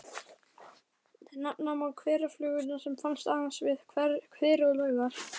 Nefna má hverafluguna sem finnst aðeins við hveri og laugar.